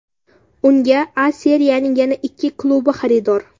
Unga A Seriyaning yana ikki klubi xaridor.